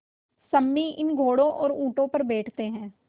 सम्मी इन घोड़ों और ऊँटों पर बैठते हैं